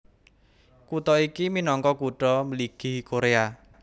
Kutha iki minangka Kutha Mligi Koréa